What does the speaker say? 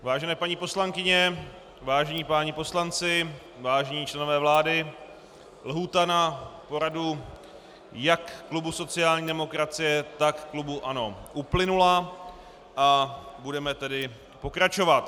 Vážené paní poslankyně, vážení páni poslanci, vážení členové vlády, lhůta na poradu jak klubu sociální demokracie, tak klubu ANO uplynula, a budeme tedy pokračovat.